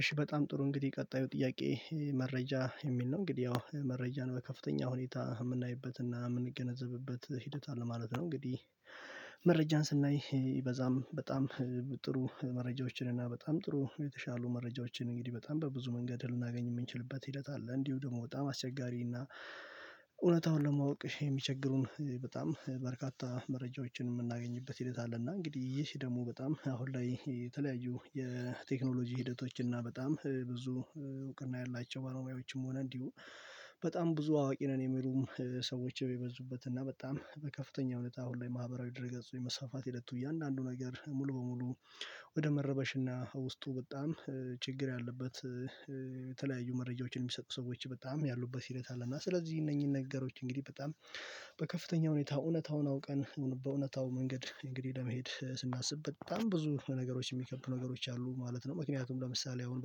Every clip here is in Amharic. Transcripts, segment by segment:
እሺ በጣም ጥሩ እንግዲህ ቀጣዩ ጥያቄ መረጃ የሚል ነው? እንግዲህ ያው መረጃን በከፍተኛ ሁኔታ የምናይበትና የምንገነዘብበት ሂደታል አለ ማለት ነው። እንግዲህ መረጃን ስናይ ይበዛም በጣም ጥሩ መረጃዎችን እና በጣም ጥሩ የተሻሉ መረጃዎችን እንግዲህ በጣም በብዙ መንገድ ልናገኝ የምንችልበት ሂደት አለ። እንዲሁ ደግሞ በጣም አስቸጋሪና እውነታውን ለማወቅ የሚቸግሩን በጣም በርካታ መረጃዎችን የምናገኝበት ሂደት አለ። እና እንግዲህ ይሄ ደግሞ በጣም አሁን ላይ የተለያዩ የቴክኖሎጂ ሂደቶች እና በጣም ብዙ እውቅና ያላቸው ባለሞያዎችም ሆነ እንዲሁ በጣም ብዙ አዋቂ ነን። የሚሉም ሰዎች የበዙበት እና በጣም በከፍተኛ እውነት አሁን ላይ ማህበራዊ ድርገጹ የመስፋት ሂደቱ እያንዳንዱ ነገር ሙሉ በሙሉ ወደ መረበሽ እና ውስጡ በጣም ችግር ያለበት የተለያዩ መረጃዎችን የሚሰጡ ሰዎች በጣም ያሉበት ሂደት አለና። ስለዚህ እነኚህን ነገሮች እንግዲህ በጣም በከፍተኛ ሁኔታ እውነታውን አውቀን በእውነታው መንገድ እንግዲህ ለመሄድ ስናስብ በጣም ብዙ ነገሮች የሚከብዱ ነገሮች አሉ ማለት ነው። ምክንያቱም ለምሳሌ አሁን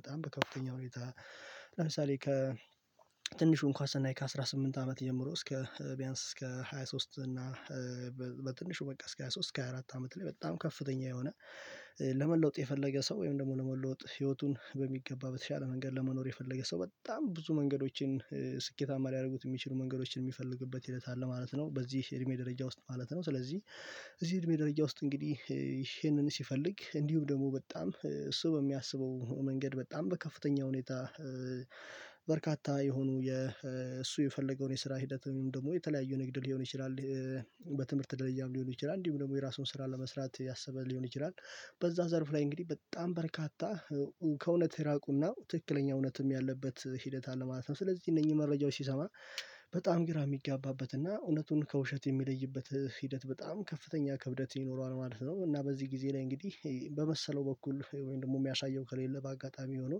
በጣም በከፍተኛ ሁኔታ ለምሳሌ ከ ትንሹ እንኳን ሰናይ ከአስራስምንት አመት ጀምሮ እስከ ቢያንስ እስከ ሃያ ሶስት እና በትንሹ በቃ እስከ ሃያ ሶስት እስከ ሃያ አራት አመት ላይ በጣም ከፍተኛ የሆነ ለመለወጥ የፈለገ ሰው ወይም ደግሞ ለመለወጥ ህይወቱን በሚገባ በተሻለ መንገድ ለመኖር የፈለገ ሰው በጣም ብዙ መንገዶችን ስኬታማ ሊያደርጉት የሚችሉ መንገዶችን የሚፈልግበት ሂደት አለ ማለት ነው። በዚህ እድሜ ደረጃ ውስጥ ማለት ነው። ስለዚህ እዚህ እድሜ ደረጃ ውስጥ እንግዲህ ይሄንን ሲፈልግ እንዲሁም ደግሞ በጣም እሱ በሚያስበው መንገድ በጣም በከፍተኛ ሁኔታ በርካታ የሆኑ የእሱ የፈለገውን የስራ ሂደት ወይም ደግሞ የተለያዩ ንግድ ሊሆን ይችላል። በትምህርት ደረጃም ሊሆን ይችላል እንዲሁም ደግሞ የራሱን ስራ ለመስራት ያሰበ ሊሆን ይችላል። በዛ ዘርፍ ላይ እንግዲህ በጣም በርካታ ከእውነት ይራቁና ትክክለኛ እውነትም ያለበት ሂደት አለ ማለት ነው። ስለዚህ እነኚህ መረጃዎች ሲሰማ በጣም ግራ ሚጋባበት እና እውነቱን ከውሸት የሚለይበት ሂደት በጣም ከፍተኛ ክብደት ይኖረዋል ማለት ነው። እና በዚህ ጊዜ ላይ እንግዲህ በመሰለው በኩል ወይም ደግሞ የሚያሳየው ከሌለ በአጋጣሚ ሆኖ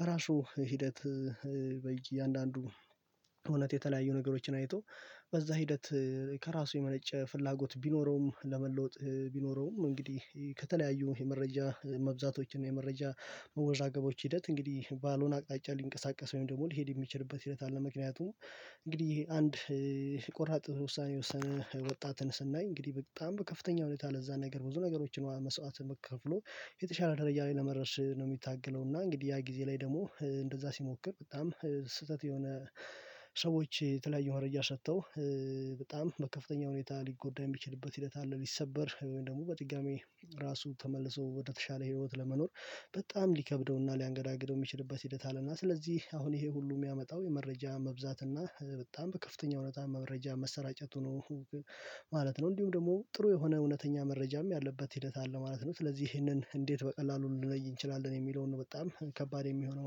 በራሱ ሂደት በእያንዳንዱ እውነት የተለያዩ ነገሮችን አይቶ በዛ ሂደት ከራሱ የመነጨ ፍላጎት ቢኖረውም ለመለወጥ ቢኖረውም እንግዲህ ከተለያዩ የመረጃ መብዛቶችን የመረጃ መወዛገቦች ሂደት እንግዲህ ባሎን አቅጣጫ ሊንቀሳቀስ ወይም ደግሞ ሊሄድ የሚችልበት ሂደት አለ። ምክንያቱም እንግዲህ አንድ ቆራጥ ውሳኔ የወሰነ ወጣትን ስናይ እንግዲህ በጣም በከፍተኛ ሁኔታ ለዛ ነገር ብዙ ነገሮችን መስዋዕትነትን ከፍሎ የተሻለ ደረጃ ላይ ለመድረስ ነው የሚታገለው እና እንግዲህ ያ ጊዜ ላይ ደግሞ እንደዛ ሲሞክር በጣም ስህተት የሆነ ሰዎች የተለያየ መረጃ ሰተው በጣም በከፍተኛ ሁኔታ ሊጎዳ የሚችልበት ሂደት አለ። ሊሰበር ወይም ደግሞ በድጋሚ ራሱ ተመልሶ ወደተሻለ ህይወት ለመኖር በጣም ሊከብደውና ሊያንገዳግደው የሚችልበት ሂደት አለና። ስለዚህ አሁን ይሄ ሁሉ የሚያመጣው የመረጃ መብዛት እና በጣም በከፍተኛ እውነት መረጃ መሰራጨት ነው ማለት ነው። እንዲሁም ደግሞ ጥሩ የሆነ እውነተኛ መረጃም ያለበት ሂደት አለ ማለት ነው። ስለዚህ ይሄንን እንዴት በቀላሉ ልንለይ እንችላለን የሚለውን በጣም ከባድ የሚሆነው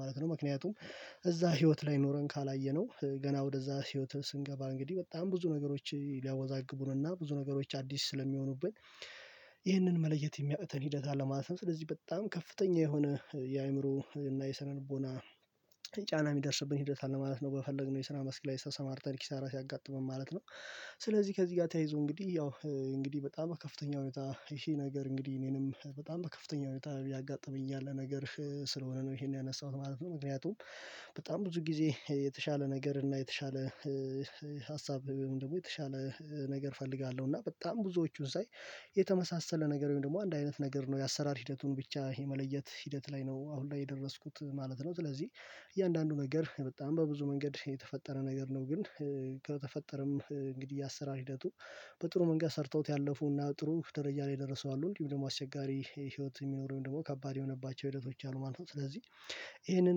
ማለት ነው። ምክንያቱም እዛ ህይወት ላይ ኖረን ካላየነው ገና ወደዛ ህይወት ስንገባ እንግዲህ በጣም ብዙ ነገሮች ሊያወዛግቡንና ብዙ ነገሮች አዲስ ስለሚሆኑብን ይህንን መለየት የሚያቅተን ሂደት አለ። ማለት ስለዚህ በጣም ከፍተኛ የሆነ የአእምሮ እና የሰነልቦና ጫና የሚደርስብን ሂደት አለ ማለት ነው። በፈለግነው የስራ መስክ ላይ ተሰማርተን ኪሳራ ሲያጋጥመን ማለት ነው። ስለዚህ ከዚህ ጋር ተያይዞ እንግዲህ ያው እንግዲህ በጣም ከፍተኛ ሁኔታ ይሄ ነገር እንግዲህ እኔንም በጣም ከፍተኛ ሁኔታ ያጋጥመኛል ነገር ስለሆነ ነው ይሄን ያነሳሁት ማለት ነው። ምክንያቱም በጣም ብዙ ጊዜ የተሻለ ነገር እና የተሻለ ሀሳብ ወይም ደግሞ የተሻለ ነገር እፈልጋለሁ እና በጣም ብዙዎቹን ሳይ የተመሳሰለ ነገር ወይም ደግሞ አንድ አይነት ነገር ነው። የአሰራር ሂደቱን ብቻ የመለየት ሂደት ላይ ነው አሁን ላይ የደረስኩት ማለት ነው። ስለዚህ እያንዳንዱ ነገር በጣም በብዙ መንገድ የተፈጠረ ነገር ነው። ግን ከተፈጠረም እንግዲህ ያሰራር ሂደቱ በጥሩ መንገድ ሰርተውት ያለፉና ጥሩ ደረጃ ላይ ደርሰዋለሁ እንዲሁም ደግሞ አስቸጋሪ ህይወት የሚኖረውን ደግሞ ከባድ የሆኑባቸው ህይወቶች አሉ ማለት ነው። ስለዚህ ይሄንን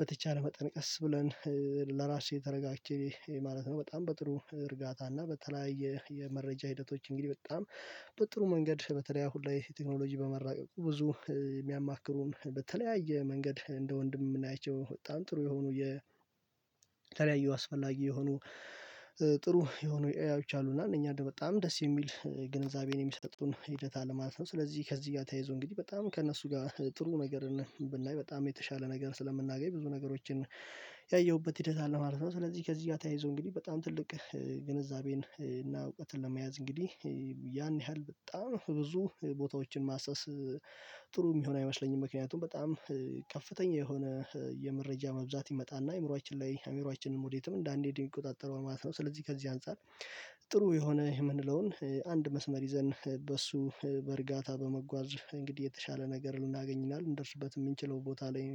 በተቻለ መጠን ቀስ ብለን ለራሴ ተረጋግቼ ማለት ነው። በጣም በጥሩ እርጋታ እና በተለያየ የመረጃ ሂደቶች እንግዲህ በጣም በጥሩ መንገድ በተለይ አሁን ላይ ቴክኖሎጂ በመራቀቁ ብዙ የሚያማክሩን በተለያየ መንገድ እንደ ወንድም የምናይቸው በጣም ጥሩ የሆኑ የ የተለያዩ አስፈላጊ የሆኑ ጥሩ የሆኑ ኤአዬች አሉና እነኛ በጣም ደስ የሚል ግንዛቤን የሚሰጡን ሂደታል አለማለት ነው። ስለዚህ ከዚህ ጋር ተያይዞ እንግዲህ በጣም ከእነሱ ጋር ጥሩ ነገር ነው ብናይ በጣም የተሻለ ነገር ስለምናገኝ ብዙ ነገሮችን ያየሁበት ሂደት አለ ማለት ነው። ስለዚህ ከዚህ ጋር ተያይዞ እንግዲህ በጣም ትልቅ ግንዛቤን እና እውቀትን ለመያዝ እንግዲህ ያን ያህል በጣም ብዙ ቦታዎችን ማሰስ ጥሩ የሚሆን አይመስለኝም። ምክንያቱም በጣም ከፍተኛ የሆነ የመረጃ መብዛት ይመጣና አእምሮአችን ላይ አእምሮአች ወዴትም እንዳንሄድ ይቆጣጠረዋል ማለት ነው። ስለዚህ ከዚህ አንፃር ጥሩ የሆነ የምንለውን አንድ መስመር ይዘን በእሱ በእርጋታ በመጓዝ እንግዲህ የተሻለ ነገር ልናገኝናል እንደርስበት የምንችለው ቦታ ላይ